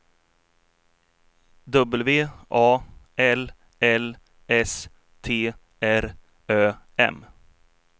W A L L S T R Ö M